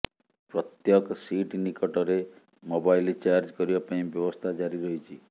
ପ୍ରତ୍ୟକ ସିଟ ନିକଟରେ mobile charge କରିବାପାଇଁ ବ୍ୟବସ୍ଥା ଜାରି ରହିଛି